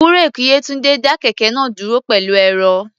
Búréèkì Yétúńdé dá kẹ̀kẹ́ náà dúró pẹ̀lú ẹ̀rọ̀.